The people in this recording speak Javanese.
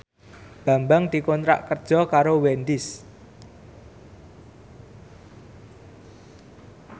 Bambang dikontrak kerja karo Wendys